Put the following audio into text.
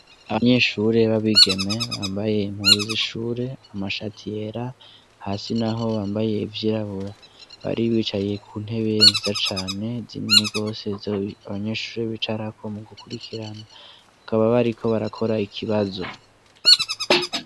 Abanyeshure babigeme bambaye impuzu z’ishure, amashati yera, hasi naho bambaye ivyirabura, bari bicaye kuntebe nziza cane zinini gose zo abanyeshure bicarako mugukurikirana bakaba bariko barakora ikibazo.